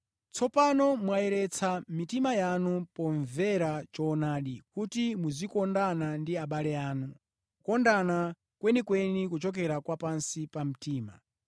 Tsopano mwayeretsa mitima yanu pomvera choonadi, kuti muzikondana ndi abale anu, kukondana kwenikweni kochokera pansi pa mtima.